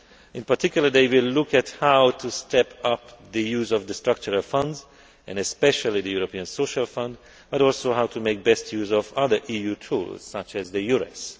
plans. In particular they will look at how to step up the use of the structural funds and especially the European Social Fund, but also how to make best use of other EU tools such as